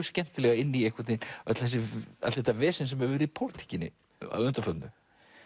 skemmtilega inn í allt þetta vesen sem hefur verið í pólitíkinni að undanförnu